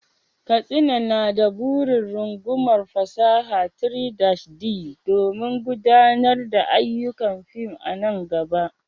Katsina na da burin rungumar fasahar 3-D don gudanar da ayyukan fim a nan gaba.